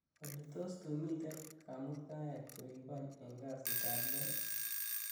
olly tos tu miten kamuktaet koribon en kasit ab lo ii